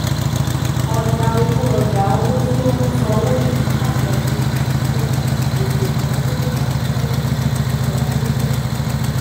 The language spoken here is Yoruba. ọjà ọlú ọjà owó tí ó ń ṣòwò ní àlábọdé sí ohun èlò ìnáwó ìgbà pípẹ fún ìdàgbàsókè